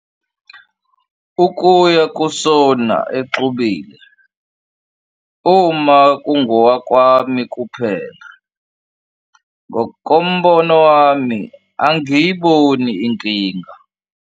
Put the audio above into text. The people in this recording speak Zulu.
Ukuya ku-sauna exubile uma kungowakwami kuphela, ngokombono wami, angiyiboni inkinga.